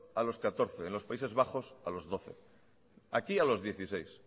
a los catorce en los países bajos a los doce aquí a los dieciséis